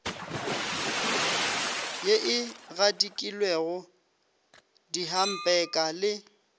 ye e gadikilwego dihampeka le